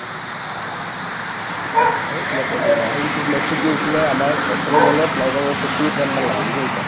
অ, এই তোমাক কৈছো শুনা এ ইটো match টো কি হৈছিলে আমাৰ অঠৰ ball ত নাই কমেও forty eight run মান লাগে বুজি পাইছা